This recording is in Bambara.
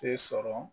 Se sɔrɔ